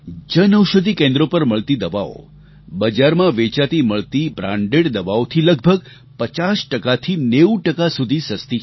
જન ઔષધિ કેન્દ્રો પર મળતી દવાઓ બજારમાં વેચાતી મળતી બ્રાન્ડેડ દવાઓથી લગભગ 50થી 90 સુધી સસ્તી છે